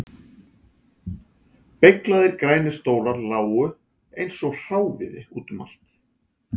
Beyglaðir grænir stólar lágu eins og hráviði út um allt